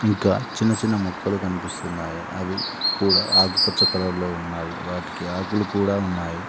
ఇంకా చిన్న చిన్న మొక్కలు కనిపిస్తున్నాయి అవి కూడా ఆకుపచ్చ కలర్ లో ఉన్నవి వాటికీ ఆకులు కూడా ఉన్నాయి.